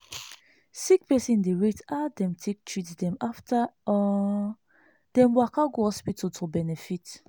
sick person dey rate how dem treat dem after um dem waka go hospital to benefit.